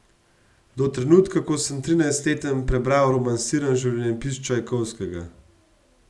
Do trenutka, ko sem trinajstleten prebral romansiran življenjepis Čajkovskega.